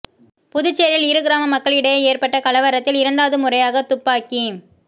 புதுச்சேரியில் இரு கிராம மக்கள் இடையே ஏற்பட்ட கலவரத்தில் இரண்டாவது முறையாக துப்பாக்கி